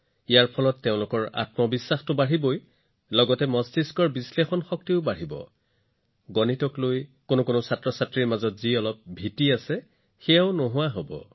ইয়াৰ সৈতে তেওঁলোকৰ আত্মবিশ্বাস বৃদ্ধি হব তেওঁলোকৰ মগজুৰ বিশ্লেষণাত্মক শক্তিও বৃদ্ধি হব আৰু হয় গণিতৰ বিষয়ে কিছুমান শিশুৰ ক্ষেত্ৰত যিকোনো সামান্য ভয় থাকিলেও সেই ভয়ো সম্পূৰ্ণৰূপে নাইকিয়া হব